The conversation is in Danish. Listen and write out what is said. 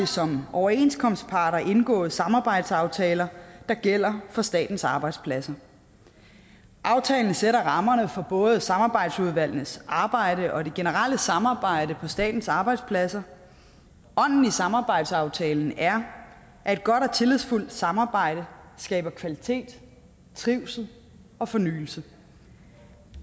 som overenskomstparter indgået samarbejdsaftaler der gælder for statens arbejdspladser aftalen sætter rammerne for både samarbejdsudvalgenes arbejde og det generelle samarbejde på statens arbejdspladser ånden i samarbejdsaftalen er at et godt og tillidsfuldt samarbejde skaber kvalitet trivsel og fornyelse